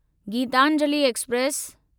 Geetanjali express